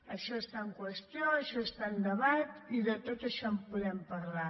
això està en qüestió això està en debat i de tot això en podem parlar